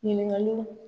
Ɲininkaliw